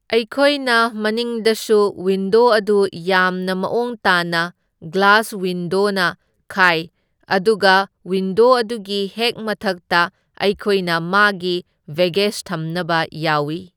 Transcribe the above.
ꯑꯩꯈꯣꯏꯅ ꯃꯅꯤꯡꯗꯁꯨ ꯋꯤꯟꯗꯣ ꯑꯗꯨ ꯌꯥꯝꯅ ꯃꯑꯣꯡ ꯇꯥꯅ ꯒ꯭ꯂꯥꯁ ꯋꯤꯟꯗꯣꯅ ꯈꯥꯏ, ꯑꯗꯨꯒ ꯋꯤꯟꯗꯣ ꯑꯗꯨꯒꯤ ꯍꯦꯛ ꯃꯊꯛꯇ ꯑꯩꯈꯣꯏꯅ ꯃꯥꯒꯤ ꯕꯦꯒꯦꯁ ꯊꯝꯅꯕ ꯌꯥꯎꯢ꯫